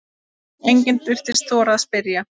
Enginn virtist þora að spyrja